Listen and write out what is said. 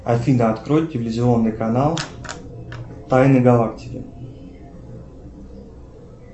афина открой телевизионный канал тайны галактики